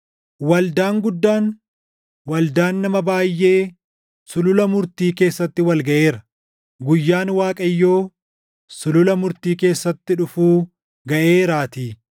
Waldaan guddaan, waldaan nama baayʼee sulula murtii keessatti wal gaʼeera! Guyyaan Waaqayyoo sulula murtii keessatti dhufuu gaʼeeraatii.